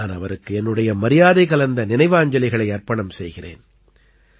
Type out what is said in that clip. நான் அவருக்கு என்னுடைய மரியாதை கலந்த நினைவாஞ்சலிகளை அர்ப்பணம் செய்கிறேன்